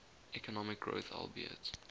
economic growth albeit